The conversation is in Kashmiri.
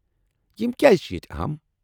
یم کیٛازِ چھِ ییتہِ اہم ؟